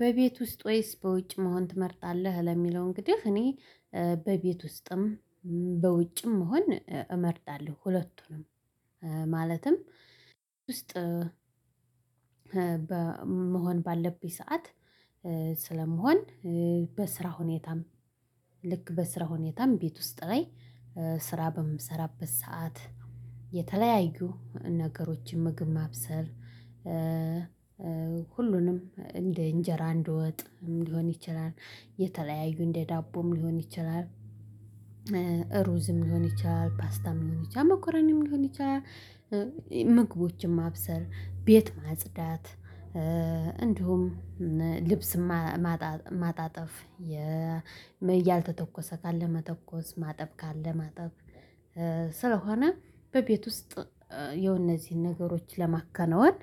በቤት ውስጥ ወይስ በውጭ መሆን ትመርጣለህ? ለሚለው እንግዲህ እኔ በቤት ውስጥም በውጭም መሆን እመርጣለሁ። ሁለቱንም ማለትም ውስጥ በመሆን ባለብኝ ሰዓት ስለምሆን። በስራ ሁኔታም ልክ በስራ ሁኔታም ቤት ውስጥ ላይ ስራ በምሰራበት ሰዓት የተለያዩ ነገሮችን ምግብ ማብሰል ሁሉንም እንደ እንጀራ እንደወጥም ሊሆን ይችላል የተለያዩ እንደ ዳቦም ሊሆን ይችላል። ሩዝም ሊሆን ይችላል ፓስታም ሊሆን ይችላል መኮረኒም ሊሆን ይችላል። ምግቦችን ማብሰል ቤት ማጽዳት እንዲሁም ልብስ ማጣጠፍ ያልተተኮሰ ካለ መተኮስ ማጠብ ካለ ማጠብ። ስለሆነ በቤት ውስጥ የነዚህን ነገሮች ለማከናወን።